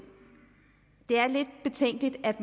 helt at